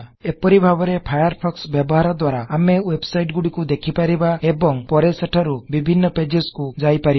ଏପରି ଭାବରେ ଫାୟାରଫୋକ୍ସ ବ୍ୟବହାର ଦ୍ବାରା ଆମେ ୱେବସାଇଟ ଗୁଡିକୁ ଦେଖିପାରିବା ଏବଂ ପରେ ସେଠାରୁ ବିଭିନ୍ନ ପେଜସ୍ କୁ ଯାଇପାରିବା